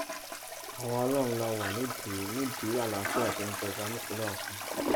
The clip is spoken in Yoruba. àwa ọlọrun la wà nídìí nídìí àlàáfíà tó ń jọba nípínlẹ ọsùn